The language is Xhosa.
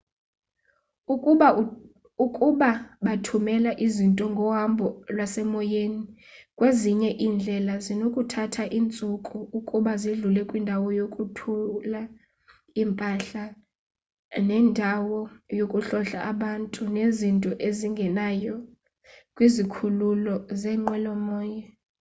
ukuba bathumela izinto ngohambo lwasemoyeni kwezinye iindlela zinokuthatha iintsuku ukuba zidlule kwindawo yokwathula impahla nendawo yokuhlola abantu nezinto ezingenayo kwizikhululo zeenqwelo-moya